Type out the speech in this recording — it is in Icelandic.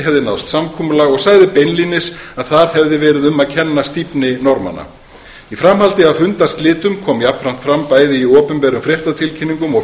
hefði náðst samkomulag og sagði beinlínis að þar hefði verið um að kenna stífni norðmanna í framhaldi af fundarslitum kom jafnframt fram bæði í opinberum fréttatilkynningum og